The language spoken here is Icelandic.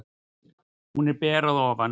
Hún var ber að ofan.